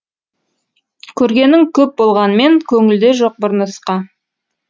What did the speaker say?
көргенің көп болғанмен көңілде жоқ бір нұсқа